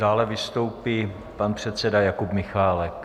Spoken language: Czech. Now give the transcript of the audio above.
Dále vystoupí pan předseda Jakub Michálek.